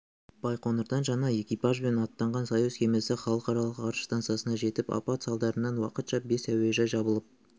байқоңырдан жаңа экипажбен аттанған союз кемесі халықаралық ғарыш стансасына жетті апат салдарынан уақытша бес әуежай жабылып